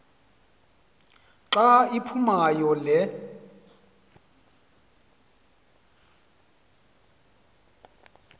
xa iphumayo le